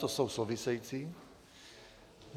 To jsou související.